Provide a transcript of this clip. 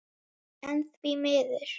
En því miður.